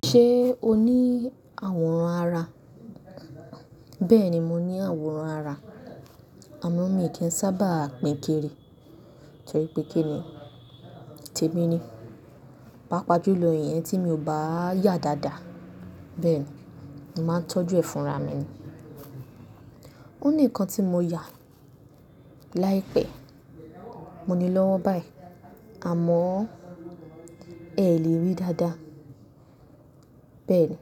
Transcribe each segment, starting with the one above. Ṣée o ní àwòrán ara? Bẹ́ẹ̀ni mo ní àwòrán ara. Àmọ mi kì í n sábà pìn kiri. Torí pé kí ni tèmi ni. Páapaa jùlọ ìyẹn tí mi ò báa yà dáadáa. Bẹ́ẹ̀ ni, n màá n tọ́jú ẹ̀ fúnra mi ni. Ó ní ikan tí mo yà láìpẹ́. Mo nílọ́wọ́ báyìí àmọ́ ẹẹ lè ríi dáadáa. Bẹ́ẹ̀ ni,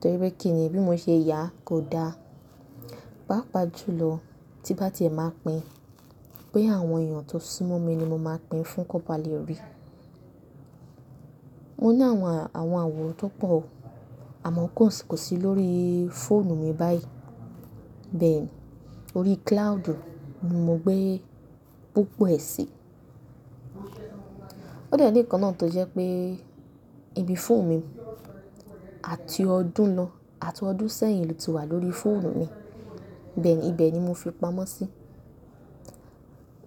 torí pé kí ni bí mo ṣe yà kò da. Páapaa jùlọ tí n bá tiẹ̀ máa pín boya àwọn èèyàn tó súnmọ́ mi ni mo máa pín fún kọ ba lè rí i. Mo ní àwọn àwòrán tó pọ̀ àmọ́ kò sì lórí fóònù mi báyìí. Bẹ́ẹ̀ ni, orí cloud ni mo gbé púpọ̀ ẹ sí. Ó dẹ́ ni ikan náà tó jẹ́ pé ibi fóònù mi àti ọdún lọ, àti ọdún sẹ́yìn ló ti wà lórí fóònù mi. Bẹ́ẹ̀ ni, ibẹ̀ ni mo fi pamọ́ sí i.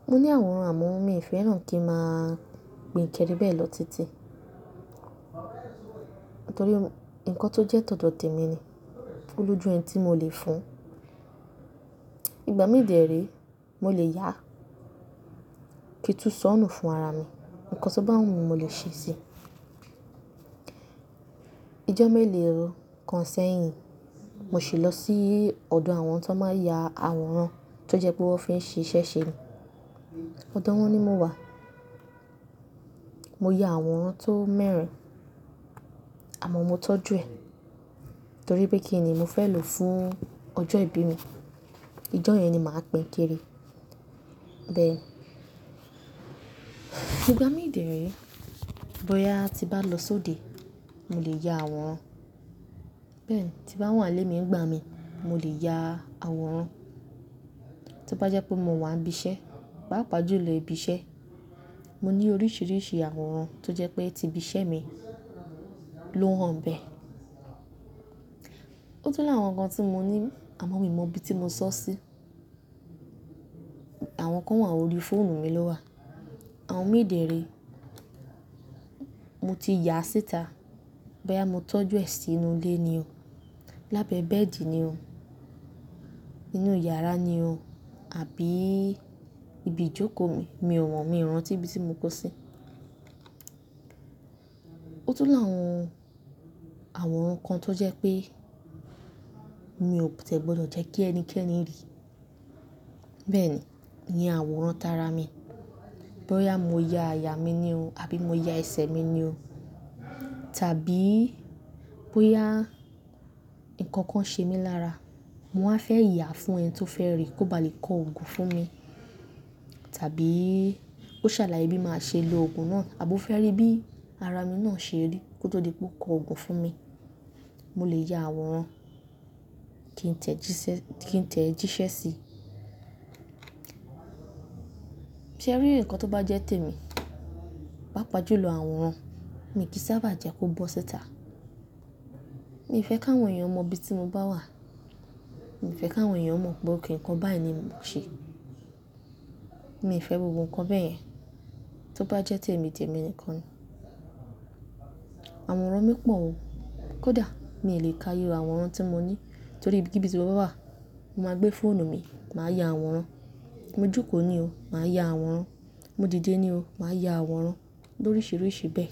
Mo ní àwòrán àmọ́ mi fẹ́ràn kí n máa pínkiri bẹ́ẹ̀ lọ títí. Nítorí nǹkan tó jẹ́ tọ̀dọ̀ tèmi ni. Olójú ẹni tí mo lè fún. Ìgbà mí dẹ̀re mo lè yà kí n tú sọ́nù fún ara mi. Ǹkan tó bá wù mí mo lè ṣe é si. Ijọ́ méle ròó kan sẹ́yìn, mo ṣì lọ sí ọ̀dọ̀ àwọn tọ máa n yà àwòrán tó jẹ́ pé wọ́n fi ń ṣíṣẹ́ ṣe ni. Ọ̀dọ̀ wọ́n ni mo wà. Mo ya àwòrán tó mẹ́rin àmọ́ mo tọ́jú ẹ torí pé kí ni mo fẹ́ lò fún ọjọ́ ìbí mi. Ọjọ́ yẹn ni màá pínkiri. Bẹ́ẹ̀ ni, ìgbà míi dẹ̀re bóyá tí bá lọ sóde mo lè ya àwòrán. Bẹ́ẹ̀ ni tí bá wa n lè mi ń gbá mi mo lè ya àwòrán. Tí ó bá jẹ́ pé mo wà n bi iṣẹ́, páapaa jùlọ ibi iṣẹ́, mo ní oríṣìíríṣìí àwòrán tó jẹ́ pé tí ibi iṣẹ́ mi ló hàn n bẹ́ẹ̀. Ó tún làwọn nǹkan tí mo ní àmọ́ mi ò mọ ibi tí mo sọ ọ́ sí. Àwọn kan wà lórí fóònù mi ló wà. Àwọn mí dẹ̀re mo ti yà síta bóyá mo tọ́jú ẹ sínú ilé ni o, lábẹ́ bẹ́ẹ̀dì ni o, inú yàrá ni o àbí ibi ìjókòó mi, mi ò wọn, mi ò rántí ibi tí mo kó o sí. Ó tún làwọn àwòrán kan tó jẹ́ pé mi ò ti ẹ́ gbọdọ̀ jẹ́ kí ẹnikẹ́ni rí. Bẹ́ẹ̀ ni, iyẹn àwòrán tara mi. Bóyá mo ya àyà mi ni o àbí mo ya ẹsẹ̀ mi ni o tàbí bóyá ǹkan kan ṣe mí lára, mo wá fẹ́ yà á fún ẹni tí ó fẹ́ rí kó ba lè kọ ògùn fún mi. Tàbí ó ṣàlàyé bí máa ṣe lo ògùn náà àbó fẹ́ rí bí ara mi náà ṣe rí kó tó lè kó kọ ògùn fún mi. Mo lè ya àwòrán kí n tẹ̀ ẹ jíṣẹ́ sí i. Sẹ́ríì ǹkan tó bá jẹ́ tèmi páapaa jùlọ àwòrán mi kì í sábà jẹ́ kó bọ́ síta. Mi ò fẹ́ ka àwọn èèyàn mọ ibi tí mo bá wà. Mi ò fẹ́ kí àwọn èèyàn mọ ok ǹkan báyìí ni mò ń ṣe. Mi ò fẹ́ gbogbo ǹkan bẹ́ẹ̀ yẹn. Tó bá jẹ́ tèmi, tèmi nìkan ni. Àwòrán mi pọ̀ o. Kódà mi ò lè ka iye àwòrán tí mo ní torí ibi kíbi zoro wà, mo máa gbé fóònù mi, màá ya àwòrán. Mo jókòó ni o, màá ya àwòrán. Mo dìde ni o, màá ya àwòrán. Lóríṣìíríṣìí bẹ́ẹ̀.